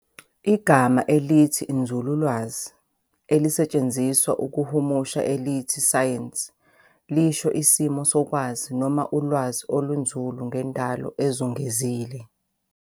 Igama elithi inzululwazi elisetshenziswa ukuhumusha elithi "science" lisho 'isimo sokwazi', noma ulwazi olunzulu ngendalo ezungezile.